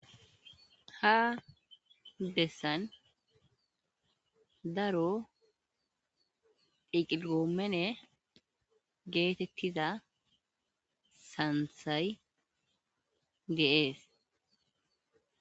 ha dessan daro diqigoomene geetettiza santhay deees